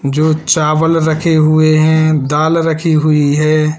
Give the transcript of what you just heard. जो चावल रखे हुए हैं दाल रखी हुई है।